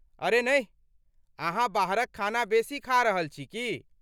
अरे नहि! अहाँ बाहरक खाना बेसी खा रहल छी की?